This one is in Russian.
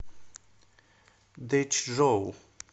дэчжоу